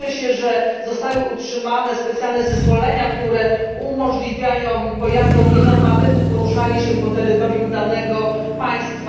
Cieszę się, że zostały utrzymane specjalne zezwolenia, które umożliwiają pojazdom nienormatywnym poruszanie się po terytorium danego państwa.